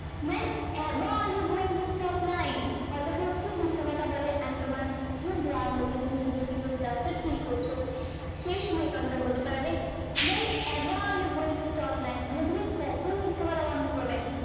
ever you going to stop lying হয়তো কেও খুব মিথ্যে কথা বলে and তোমার খুব রাগ হচ্ছে তুমি যেই frustrated feel করছো সেই সময় কথাটা বলতে চাইবে when ever you going to stop lying মানে তুমি কখন মিথ্যে বলা বন্দ করবে